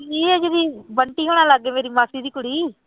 ਨੀ ਹੈਗੀ ਗੀ ਬੰਟੀ ਹੋਣਾ ਲਾਗੇ ਮੇਰੀ ਮਾਸੀ ਦੀ ਕੁੜੀ